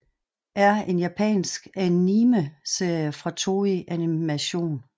er en japansk animeserie fra Toei Animation